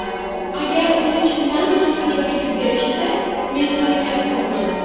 Agar uni chindan ham ijaraga berishsa, men harakat qilaman.